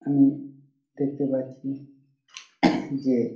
আমি দেখতে পাচ্ছি যে--